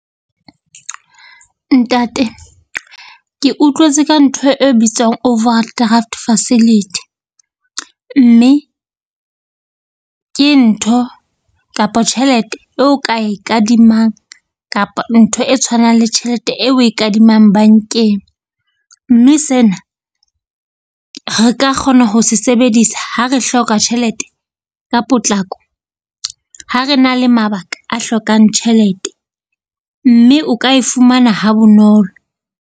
Ntate ke utlwetse ka ntho e bitswang overdraft facility, mme ke ntho kapa tjhelete eo ka e kadimang kapa ntho e tshwanang le tjhelete e oe kadimang bankeng. Mme sena re ka kgona ho se sebedisa ha re hloka tjhelete ka potlako ha re na le mabaka a hlokang tjhelete, mme o ka e fumana ha bonolo.